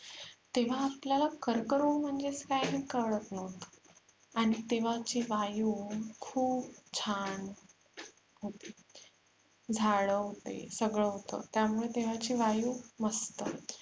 तेव्हा आपल्याला कर्करोग म्हणजे काय हेच कळत नव्हते आणि तेव्हाची वायु खुप छान होती झाडे होते झाड होते सगळ होते त्यामुळे तेव्हाची वायु मस्त